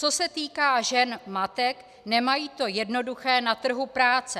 Co se týká žen matek, nemají to jednoduché na trhu práce.